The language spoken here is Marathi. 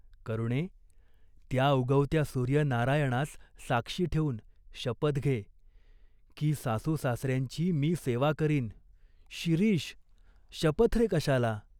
करुणे, त्या उगवत्या सूर्यनारायणास साक्षी ठेवून शपथ घे, की सासूसासऱ्यांची मी सेवा करीन." "शिरीष, शपथ रे कशाला?